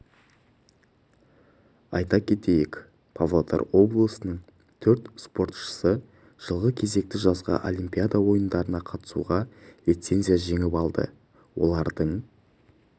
айта кетейік павлодар облысының төрт спортшысы жылғы кезекті жазғы олимпиада ойындарына қатысуға лицензия жеңіп алды олардың